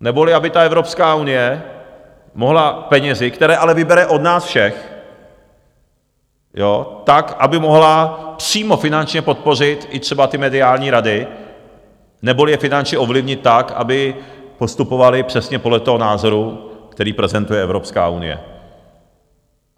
Neboli aby ta Evropská unie mohla penězi, které ale vybere od nás všech, tak aby mohla přímo finančně podpořit i třeba ty mediální rady, neboli je finančně ovlivnit tak, aby postupovaly přesně podle toho názoru, který prezentuje Evropská unie.